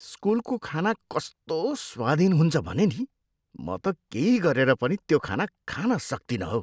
स्कुलको खाना कस्तो स्वादहीन हुन्छ भने नि, म त केही गरेर पनि त्यो खाना खान सक्तिनँ हौ।